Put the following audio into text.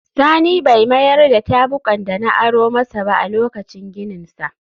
Sani bai mayar da tabukan da na aro masa ba a lokacin gininsa